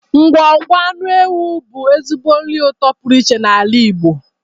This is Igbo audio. Ngwọngwọ anụ ewu bụ ezigbo nri ụtọ pụrụ iche n'ala Igbo.